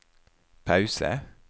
pause